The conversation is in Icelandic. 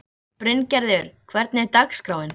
Bryngerður, hvernig er dagskráin?